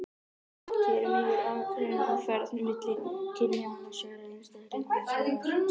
Hér er mikilvæg aðgreining á ferð milli kynja annars vegar og einstaklinga hins vegar.